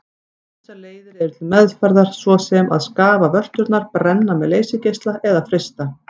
Ýmsar leiðir eru til meðferðar svo sem að skafa vörturnar, brenna með leysigeisla eða frysta.